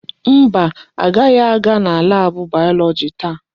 Mba, agaghị aga na laabụ bayọlọji taa.